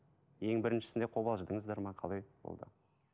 ең біріншісінде қобалжыдыңыздар ма қалай болды